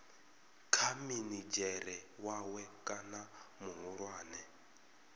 kha minidzhere wawe kana muhulwane